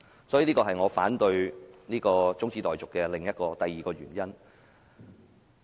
這是我反對中止待續議案的第二個原因。